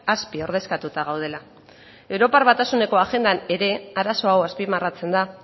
azpiordezkatuta gaudela europar batasuneko agendan ere arazo hau azpimarratzen da